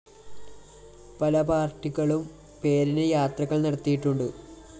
പല പാര്‍ട്ടികളും പേരിന് യാത്രകള്‍ നടത്തിയിട്ടുണ്ട്